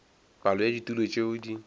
palo ya ditulo tšeo di